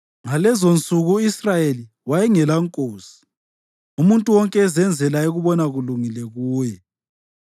Ngalezonsuku u-Israyeli wayengelankosi; umuntu wonke ezenzela ayekubona kulungile kuye.